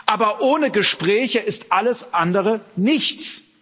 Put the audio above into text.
Aber ohne Gespräche ist alles andere nichts.